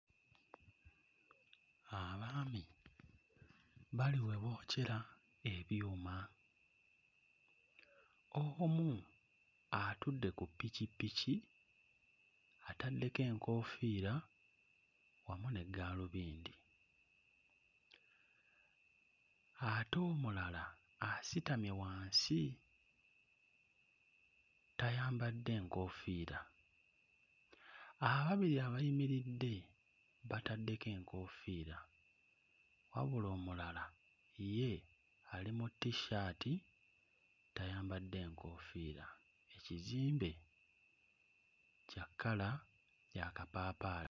Abaami bali we bookyera ebyuma, omu atudde ku ppikippiki ataddeko enkoofiira wamu ne gaalubindi, ate omulala asitamye wansi tayambadde nkoofiira, ababiri abayimiridde bataddeko enkoofiira. Wabula omulala ye ali mu t-shirt tayambadde nkoofiira. Ekizimbe kya kkala yakapaapaali.